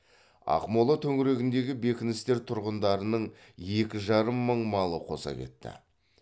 ақмола төңірегіндегі бекіністер тұрғындарының екі жарым мың малы қоса кетті